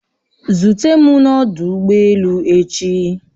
Zute m n'ọdụ ụgbọ elu echi!